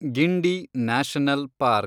Guindy national park